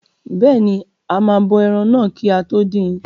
Bẹ́ẹ̀ni, a máa bọ ẹran náà kí a tó dín in.